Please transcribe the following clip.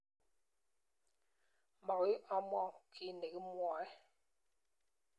Mokoi amwaun kiy nekimwoe.